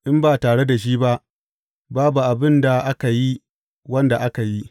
In ba tare da shi ba, babu abin da aka yi wanda aka yi.